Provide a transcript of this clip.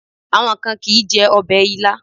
Àwọn kan kì ń jẹ ọbẹ̀ Ilá.